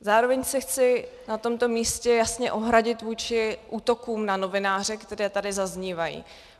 Zároveň se chci na tomto místě jasně ohradit vůči útokům na novináře, které tady zaznívají.